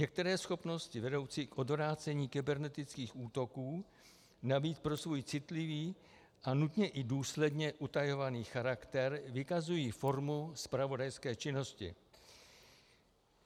Některé schopnosti vedoucí k odvrácení kybernetických útoků navíc pro svůj citlivý a nutně i důsledně utajovaný charakter vykazují formu zpravodajské činnosti.